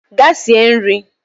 Gaa sie nri!